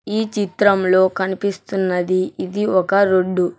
ఈ చిత్రంలో కనిపిస్తున్నది ఇది ఒక రోడ్డు .